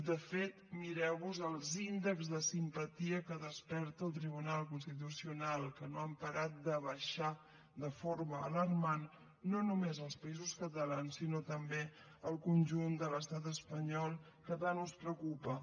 de fet mireu vos els índexs de simpatia que desperta el tribunal constitucional que no han parat de baixar de forma alarmant no només als països catalans sinó també al conjunt de l’estat espanyol que tant us preocupa